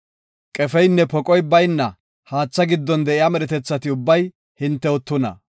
Qefeynne poqoy bayna haatha giddon de7iya medhetethati ubbay hintew tuna.